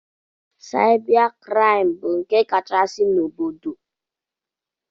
Saịba kraịm bụ nke kachasị n'obodo.